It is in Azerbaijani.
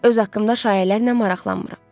Öz haqqımda şayiələrlə maraqlanmıram.